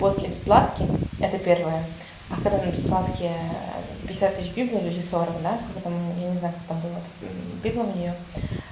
после бесплатки это первое а когда на бесплатке пятьдесят тысяч библов или сорок да сколько там я не знаю когда была библов у неё